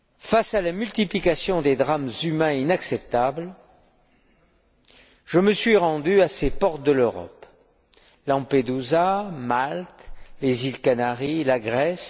Face à la multiplication des drames humains inacceptables, je me suis rendu à ces portes de l'Europe Lampedusa, Malte, les îles Canaries, la Grèce.